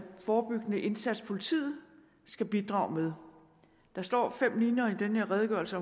forebyggende indsats politiet skal bidrage med der står fem linjer i den her redegørelse